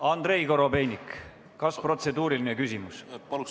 Andrei Korobeinik, kas on protseduuriline küsimus?